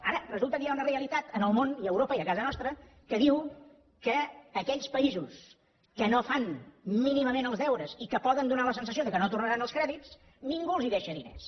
ara resulta que hi ha una realitat en el món i a europa i a casa nostra que diu que a aquells països que no fan mínimament els deures i que poden donar la sensació que no tornaran els crèdits ningú els deixa diners